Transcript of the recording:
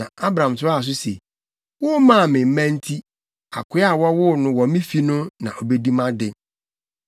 Na Abram toaa so se, “Wommaa me mma nti, akoa a wɔwoo no wɔ me fi no na obedi mʼade.”